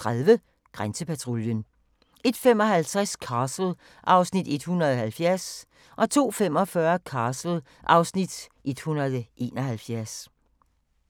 01:30: Grænsepatruljen 01:55: Castle (Afs. 170) 02:45: Castle (Afs. 171)